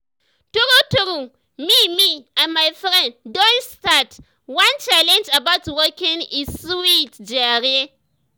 tru tru me me and my friends don start one challenge about walking e sweet jare